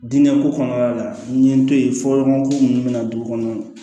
Diinɛko kɔnɔna la n ye n to ye fɔɲɔgɔnko minnu bɛ na du kɔnɔ